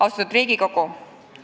Austatud Riigikogu!